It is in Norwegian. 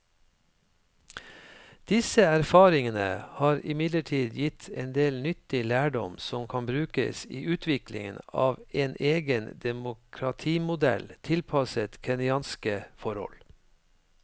Disse erfaringene har imidlertid gitt en del nyttig lærdom som kan brukes i utviklingen av en egen demokratimodell tilpasset kenyanske forhold.